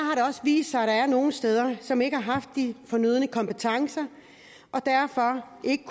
også vist sig at der er nogle steder som ikke har haft de fornødne kompetencer og derfor ikke